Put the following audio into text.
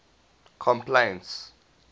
complaints